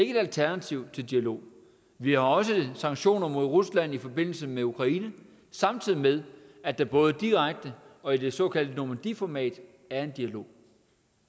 et alternativ til dialog vi har også sanktioner imod rusland i forbindelse med ukraine samtidig med at der både direkte og i det såkaldte normandy format er en dialog